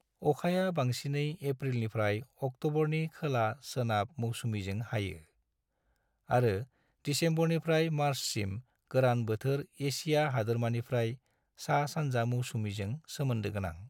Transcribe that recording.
अखाया बांसिनै एप्रिलनिफ्राय अक्ट'बरनि खोला-सोनाब मौसुमिजों हायो, आरो दिसेम्बरनिफ्राय मार्चसिम गोरान बोथोर एसिया हादोरमानिफ्राय सा-सानजा मौसुमिजों सोमोन्दोगोनां।